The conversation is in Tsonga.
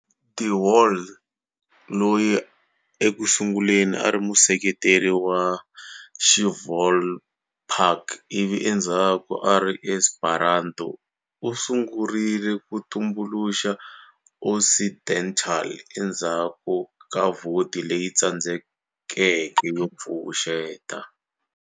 De Wahl, loyi ekusunguleni ari museketeri wa XiVolapük ivi endzhaku ari Esperanto, u sungurile ku tumbuluxa Occidental endzhaku ka vhoti leyi tsandzekeke yo pfuxeta